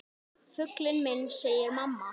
Fuglinn minn, segir mamma.